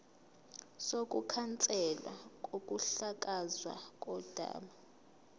sokukhanselwa kokuhlakazwa kodaba